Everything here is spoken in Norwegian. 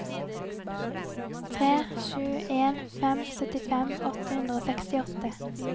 tre sju en fem syttifem åtte hundre og sekstiåtte